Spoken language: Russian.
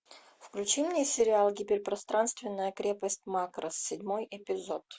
включи мне сериал гиперпространственная крепость макросс седьмой эпизод